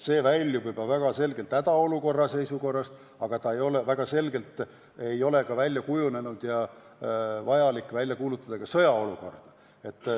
See väljub juba väga selgelt hädaolukorra raamidest, aga väga selgelt ei ole ka välja kujunenud seis, kus oleks vajalik välja kuulutada sõjaseisukord.